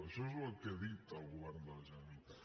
això és el que ha dit el govern de la generalitat